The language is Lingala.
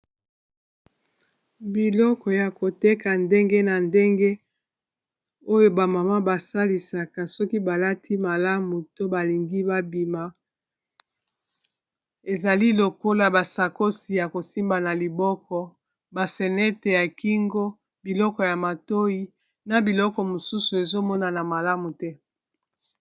biloko ya koteka ndenge na ndenge oyo bamama basalisaka soki balati malamu to balingi babima ezali lokola basakosi ya kosimba na liboko basenete ya kingo biloko ya matoi na biloko mosusu ezomonana malamu te